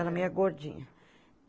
Era meia gordinha.